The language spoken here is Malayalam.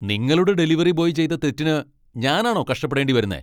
നിങ്ങളുടെ ഡെലിവറി ബോയ് ചെയ്ത തെറ്റിന് ഞാനാണോ കഷ്ടപ്പെടേണ്ടി വരുന്നേ?